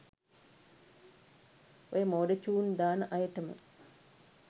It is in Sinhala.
ඔය මෝඩ චූන් දාන අයටම